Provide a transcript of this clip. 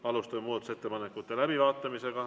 Alustame muudatusettepanekute läbivaatamist.